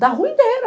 Da rua inteira.